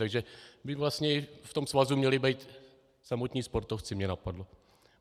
Takže by vlastně v tom svazu měli být samotní sportovci, mě napadlo.